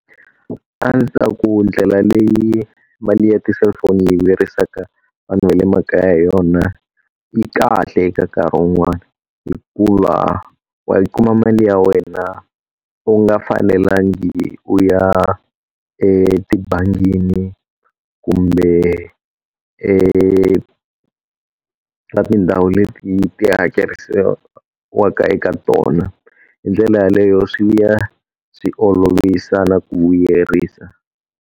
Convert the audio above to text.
A ndzi ta ku ndlela leyi mali ya ti-cellphone yi vuyerisaka vanhu va le makaya hi yona yi kahle eka nkarhi wun'wana, hikuva wa yi kuma mali ya wena u nga fanelangi u ya etibangini kumbe eka tindhawu leti ti hakerisiwaka eka tona. Hi ndlela yeleyo swi ya swi olovisa na ku vuyerisa.